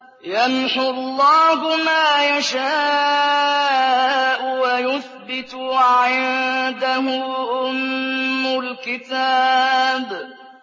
يَمْحُو اللَّهُ مَا يَشَاءُ وَيُثْبِتُ ۖ وَعِندَهُ أُمُّ الْكِتَابِ